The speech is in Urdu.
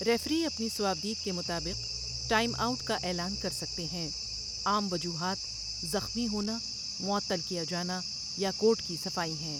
ریفری اپنی صوابدید کے مطابق ٹائم آؤٹ کا اعلان کر سکتے ہیں، عام وجوہات زخمی ہونا، معطل کیا جانا، یا کورٹ کی صفائی ہیں۔